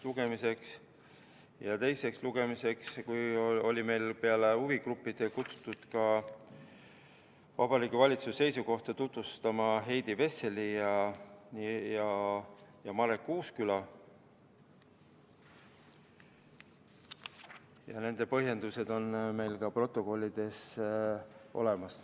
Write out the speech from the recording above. Ja enne teist lugemist oli meil peale huvigruppide kutsutud Heidi Vessel ja Marek Uusküla tutvustama Vabariigi Valitsuse seisukohti, ja nende põhjendused on meil protokollides olemas.